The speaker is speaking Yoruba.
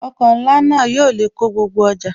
Ọkọ̀ ńlá náà yóò lè kó gbogbo ọjà